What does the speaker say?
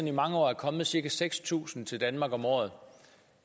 i mange år er kommet cirka seks tusind til danmark om året